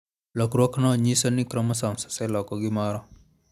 Lokruokno nyiso ni chromosomes oseloko gimoro.